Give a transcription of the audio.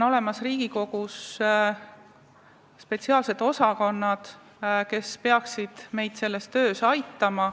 Ja Riigikogu Kantseleis on spetsiaalne osakond, kes peaks meid sellises töös aitama.